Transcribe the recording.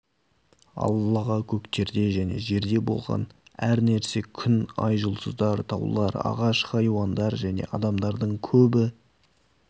аллаға көктерде және жерде болған әр нәрсе күн ай жұлдыздар таулар ағаш хайуандар және адамдардың көбі